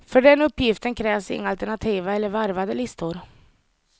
För den uppgiften krävs inga alternativa eller varvade listor.